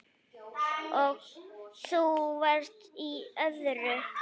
Þú varst í öðru.